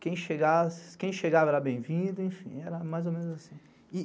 Quem chegava era bem-vindo, enfim, era mais ou menos assim.